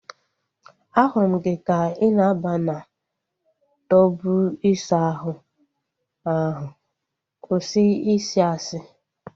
Ahụrụ m gị ka ị na aba na tọbu isa ahụ ahu. Kwụsị I si asị!